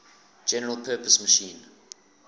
general purpose machine